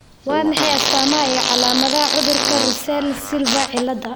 Waa maxay astamaha iyo calaamadaha cudurka Russell Silver cilada?